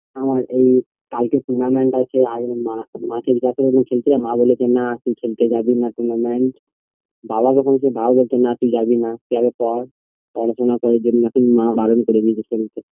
আমার এই কালকে tournament আছে আর মা মাকে জিজ্ঞাসা করেছিলাম যে খেলতে যাব মা বলল না তুই খেলতে যাবিনা tournament বাবাকে বলেছিলাম বাবা বলেছে না তুই যাবিনা তুই আগে পড় আলোচনাকরে দিয়েছে মা বারন করে দিয়েছে খেলতে